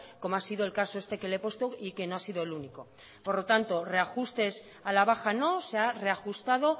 como ha sido el caso este que le he puesto y que no ha sido el único por lo tanto reajustes a la baja no se ha reajustado